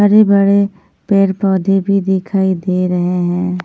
हरे भरे पेड़ पौधे भी दिखाई दे रहे हैं।